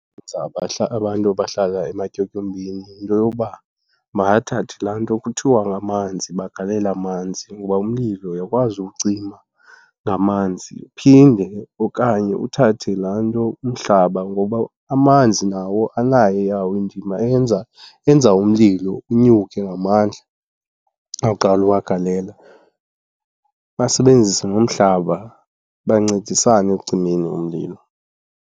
Abantu abahlala ematyotyombeni yinto yoba makathathe laa nto kuthiwa ngamanzi, bagalele amanzi ngoba umlilo uyakwazi uwucima ngamanzi. Iphinde okanye uthathe laa nto umhlaba ngoba amanzi nawo anayo eyawo indima eyenza, enza umlilo unyuke ngamandla xa uqala uwagalela. Basebenzise nomhlaba, bancedisane ekucimeni umlilo.